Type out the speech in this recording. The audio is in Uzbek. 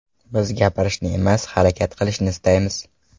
Biz gapirishni emas, harakat qilishni istaymiz.